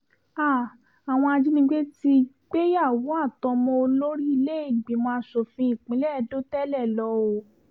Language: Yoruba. háà àwọn ajinígbé ti gbéyàwó àtọmọ olórí ilé-ìgbìmọ̀ asòfin ìpínlẹ̀ edo tẹ́lẹ̀ lọ o